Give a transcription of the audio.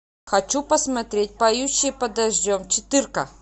хочу посмотреть поющие под дождем четырка